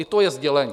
I to je sdělení.